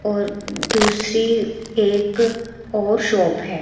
और दूसरी एक और शॉप है।